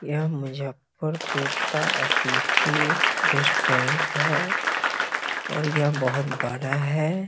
यह मुजफ्फरपुर का अतिथि रेस्टोरेंट है और यह बहुत बड़ा है।